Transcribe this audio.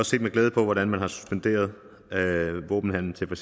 set med glæde på hvordan man har suspenderet våbenhandel til for